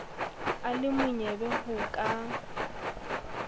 a le monyebe ho ka